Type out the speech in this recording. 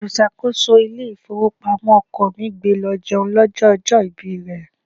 Olùṣàkóso ilé ìfowópamọ́ ọkọ mi gbé e lọ jẹun lọ́jọ́ ọjọ́ ìbí rẹ.